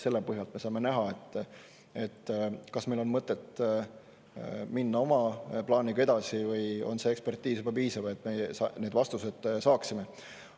Selle põhjal me saame näha, kas meil on mõtet minna oma plaaniga edasi või on see ekspertiis juba piisav vastuste saamiseks.